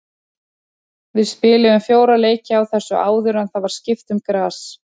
Við spiluðum fjóra leiki á þessu áður en það var skipt um gras.